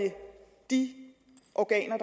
de organer